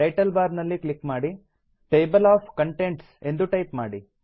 title bar ನಲ್ಲಿ click ಮಾಡಿ table of contents ಎಂದು ಟೈಪ್ ಮಾಡಿ